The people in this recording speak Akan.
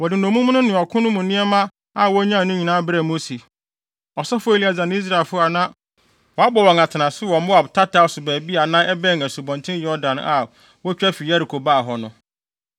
Wɔde nnommum no ne ɔko no mu nneɛma a wonyae no nyinaa brɛɛ Mose, ɔsɔfo Eleasar ne Israelfo a na wɔabɔ wɔn atenase wɔ Moab tataw so baabi a na ɛbɛn Asubɔnten Yordan a wotwa fi Yeriko baa hɔ no.